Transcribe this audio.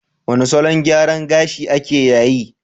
Wane salon gyaran gashiake yayi?